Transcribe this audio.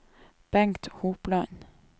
Bengt Hopland